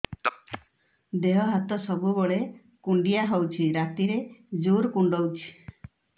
ଦେହ ହାତ ସବୁବେଳେ କୁଣ୍ଡିଆ ହଉଚି ରାତିରେ ଜୁର୍ କୁଣ୍ଡଉଚି